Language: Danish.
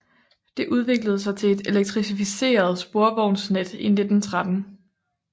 Det udviklede sig til et elektrificeret sporvognsnet i 1913